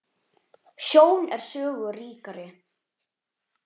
Sjón er sögu ríkari.